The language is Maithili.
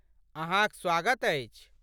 अहाँक स्वागत अछि।